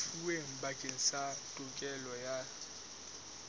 lefuweng bakeng sa tokelo ya